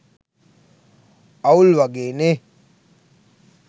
අවුල් වගේ නේ.